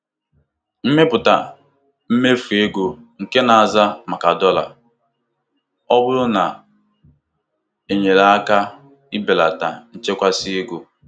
Ịmepụta mmefu ego nke na-aza maka dọla ọ bụla na-enyere aka belata nchekasị ego.